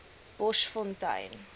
boschfontein